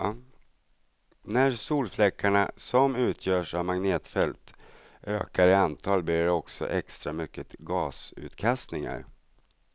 När solfläckarna, som utgörs av magnetfält, ökar i antal blir det också extra mycket gasutkastningar.